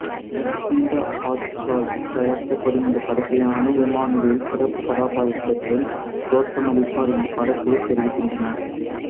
கீதா ஆர்ட்ஸால் தயாரிக்கப்படும் இந்த படத்தில் அனு இம்மானுவேல் சிறப்பு கதாபாத்திரத்தில் தோற்றமளிப்பார் என்று படக்குழு தெரிவிக்கின்றன